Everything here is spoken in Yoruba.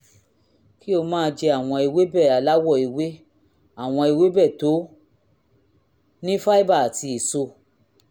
kí o máa jẹ àwọn ewébẹ̀ aláwọ̀ ewé àwọn ewébẹ̀ tó ní fáíbà àti èso